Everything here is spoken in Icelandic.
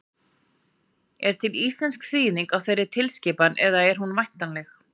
Er til íslensk þýðing á þeirri tilskipun eða er hún væntanleg?